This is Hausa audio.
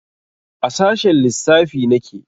A sashen lissafi nake